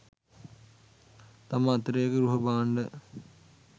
තම අතිරේක ගෘහභාණ්ඩ